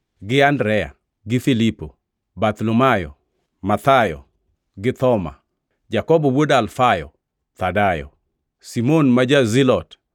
gi Andrea, Filipo, Bartholomayo, Mathayo; gi Thoma, Jakobo wuod Alfayo, Thadayo, Simon ma ja-Zilote,